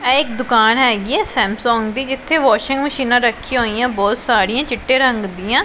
ਇਹ ਇੱਕ ਦੁਕਾਨ ਹੈਗੀ ਐ ਸੈਮਸੌਂਗ ਦੀ ਜਿੱਥੇ ਵਾਸ਼ਿੰਗ ਮਸ਼ੀਨਾਂ ਰੱਖੀਆਂ ਹੋਈਐ ਬਹੁਤ ਸਾਰੀਆਂ ਚਿੱਟੇ ਰੰਗ ਦੀਆਂ।